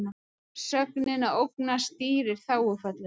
Sögnin að ógna stýrir þágufalli.